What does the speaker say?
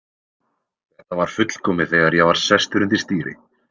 Þetta var fullkomið þegar ég var sestur undir stýri.